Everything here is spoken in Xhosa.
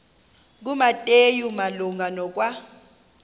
kumateyu malunga nokwa